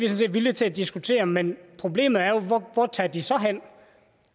set villige til at diskutere men problemet er jo hvor tager de så hen